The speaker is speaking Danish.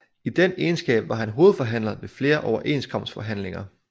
I den egenskab var han hovedforhandler ved flere overenskomstforhandlinger